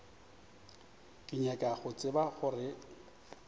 ke nyaka go tseba gore